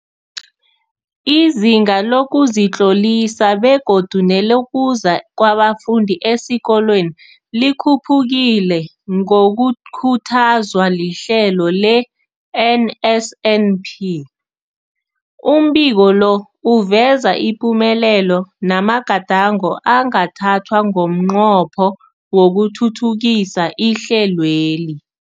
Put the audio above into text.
Izinga lokuzitlolisa begodu nelokuza kwabafundi esikolweni likhuphukile ngokukhuthazwa lihlelo le-NSNP. Umbiko lo uveza ipumelelo namagadango angathathwa ngomnqopho wokuthuthukisa ihlelweli.